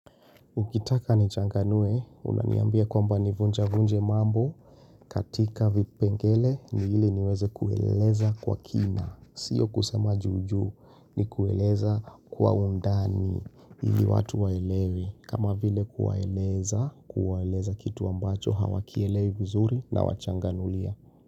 Ukitaka ni changanue, unaniambia kwamba nivunja vunje mambo. Katika vipengele ni ili niweze kueleza kwa kina. Siyo kusema juujuu ni kueleza kwa undani. Ili watu waelewe. Kama vile kuwaeleza, kuwaeleza kitu ambacho hawa kielewe vizuri na wachanganulia.